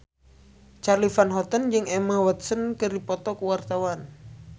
Charly Van Houten jeung Emma Watson keur dipoto ku wartawan